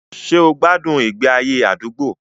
Ṣé o gbádùn ìgbé ayé àdúgbò?